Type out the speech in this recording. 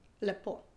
Lepo.